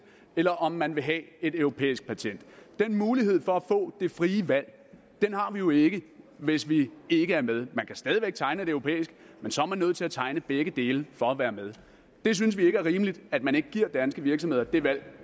eller om man vil have et europæisk patent den mulighed for at få det frie valg har vi jo ikke hvis vi ikke er med man kan stadig væk tegne et europæisk men så er man nødt til at tegne begge dele for at være med det synes vi ikke er rimeligt at man ikke giver danske virksomheder det valg